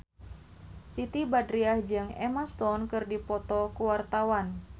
Siti Badriah jeung Emma Stone keur dipoto ku wartawan